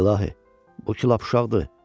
İlahi, bu ki lap uşaqdır.